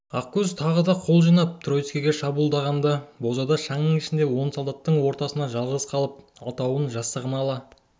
ақкөз тағы да қол жинап тройцкіге шабуылдағанда бозада шаңның ішінде он солдаттың ортасында жалғыз қалып алтауын жастығына ала